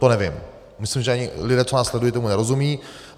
To nevím, myslím, že ani lidé, co nás sledují, tomu nerozumí.